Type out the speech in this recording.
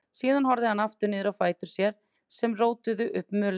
Síðan horfði hann aftur niður á fætur sér sem rótuðu upp mölinni.